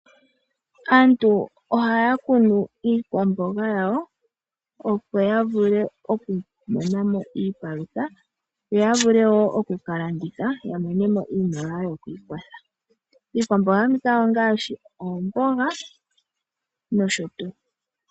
Aantu ohaya kunu iikwamboga yawo opo yavule oku monamo iipalutha, yo yavule woo oku kalanditha ya monemo iimaliwa yoku ikwatha. Iikwamboga mbika ongaashi oomboga noshotuu.